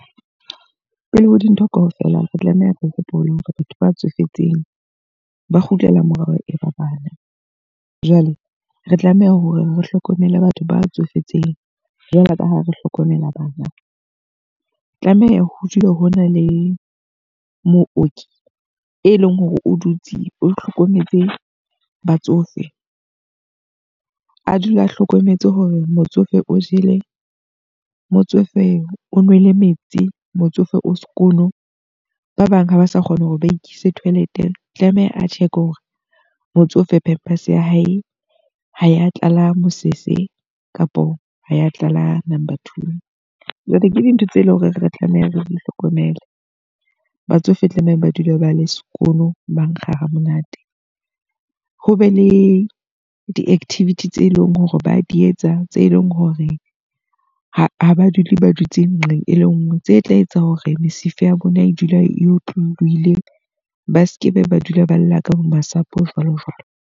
Pele ho dintho ka ofela, re tlameha re hopole hore batho ba tsofetseng ba kgutlela morao e ba bana. Jwale re tlameha hore re hlokomele batho ba tsofetseng jwalo ka ha re hlokomela bana. O tlameha ho dule ho na le mooki, e leng hore o dutse o hlokometse batsofe. A dula a hlokometse hore motsofe o jele, motsofe o nwele metsi, motsofe o sekono. Ba bang ha ba sa kgona hore ba ikise toilet. Tlameha a check hore motsofe, pampers ya hae ha ya tlala mosese kapo ha ya tlala number two. Jwale ke dintho tse leng hore re tlameha re di hlokomele. Batsofe tlameha ba dule ba le sekono ba nkga ha monate. Ho be le di-activity tse leng hore ba di etsa, tse leng hore ha ha ba dule ba dutse nqeng e le nngwe, tse tla etsa hore mesifa ya bona e dula e otlolohile. Ba sekebe ba dula ba lla ka bo masapo jwalo jwalo.